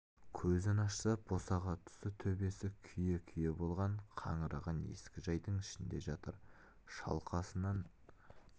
көзін ашса босаға тұсы төбесі күйе-күйе болған қаңыраған ескі жайдың ішінде жатыр шалқасынан